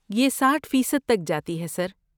یہ ساٹھ فیصد تک جاتی ہے، سر